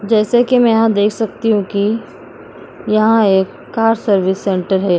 जैसे की मै यहाँ देख सकती हूँ की यहाँ एक कार सर्विस सेंटर है।